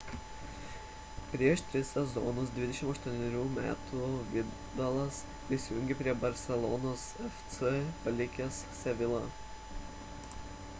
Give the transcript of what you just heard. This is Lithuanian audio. prieš tris sezonus 28 metų vidalas prisijungė prie barselonos fc palikęs sevilla